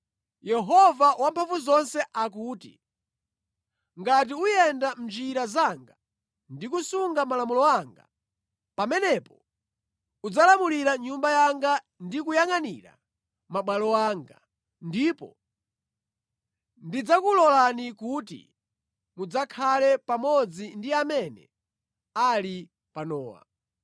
“Yehova Wamphamvuzonse akuti, ‘Ngati uyenda mʼnjira zanga ndi kusunga malamulo anga, pamenepo udzalamulira nyumba yanga ndi kuyangʼanira mabwalo anga, ndipo ndidzakulolani kuti mudzakhale pamodzi ndi amene ali panowa.